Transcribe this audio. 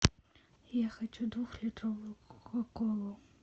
я хочу двухлитровую кока колу